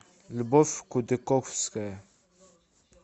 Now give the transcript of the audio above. любовь кутыковская